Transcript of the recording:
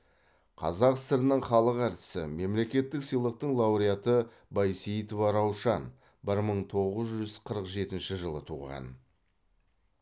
қазақ сср інің халық әртісі мемлекеттік сыйлықтың лауреаты байсейітова раушан бір мың тоғыз жүз қырық жетінші жылы туған